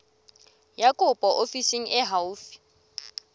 ya kopo ofising e haufi